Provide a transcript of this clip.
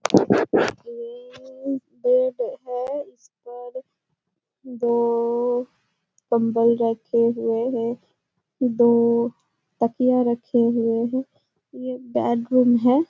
ये बेड है इसपर दो कम्बल रखे हुए हैं दो तकिया रखे हुए हैं ये बेड रूम है।